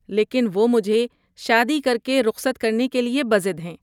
لیکن وہ مجھے شادی کر کے رخصت کرنے کے لیے بضد ہیں۔